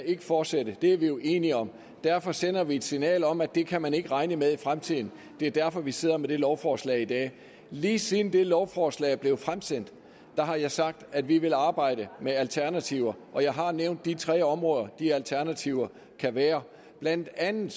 fortsætte er vi jo enige om derfor sender vi et signal om at det kan man ikke regne med i fremtiden det er derfor vi sidder med det lovforslag i dag lige siden det lovforslag er blevet fremsendt har jeg sagt at vi vil arbejde med alternativer og jeg har nævnt de tre områder de alternativer kan være blandt andet